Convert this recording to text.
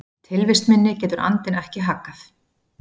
Tilvist minni getur andinn ekki haggað.